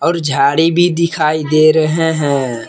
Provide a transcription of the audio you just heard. झाड़ी भी दिखाई दे रहे हैं।